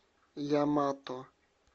ямато